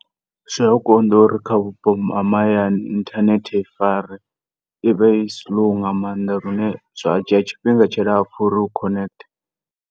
Zwia konḓa uri kha vhupo ha mahayani uri internet i fare i vha i slow nga maanḓa lune zwa dzhia tshifhinga tshilapfu uri u connect.